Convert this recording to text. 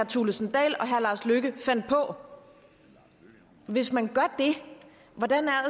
thulesen dahl og herre lars løkke fandt på hvis man gør det hvordan er